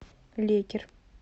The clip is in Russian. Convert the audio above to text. лекер